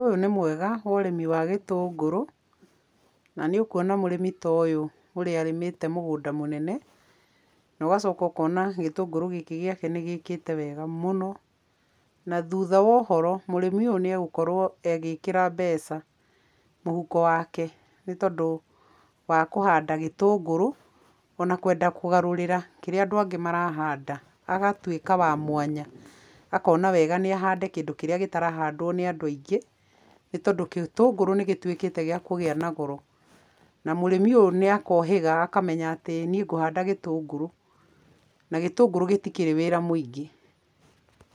Ũyũ nĩ mwega, ũrĩmi wa gĩtũngũrũ, na nĩ ũkuona mũrĩmi ta ũyũ ũrĩa arĩmĩte mũgũnda mũnene, na ũgacoka ũkona gĩtũngũrũ gĩkĩ gĩake nĩ gĩkĩte wega mũno na thutha wa ũhoro, mũrĩmi ũyũ nĩ egũkorũo agĩkĩra mbeca mũhuko wake nĩ tondũ wa kũhanda gĩtũngũrũ,o na kwenda kũgarũrĩra kĩrĩa andũ angĩ marahanda, agatuĩka wa mwanya, akona wega nĩ ahande kĩndũ kĩrĩa gĩtarahandwo nĩ andũ aingĩ, nĩ tondũ gĩtũngũrũ nĩ gĩtuĩkĩte gĩa kũgĩa na goro na mũrĩmi ũyũ nĩ akohĩga akamenya atĩ niĩ ngũhanda gĩtũngũrũ, na gĩtũngũrũ gĩtikĩrĩ wĩra mũingĩ.